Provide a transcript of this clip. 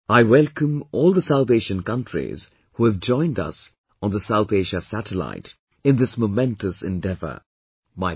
I welcome all the South Asian countries who have joined us on the South Asia Satellite in this momentous endeavour...